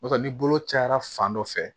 N'o tɛ ni bolo cayara fan dɔ fɛ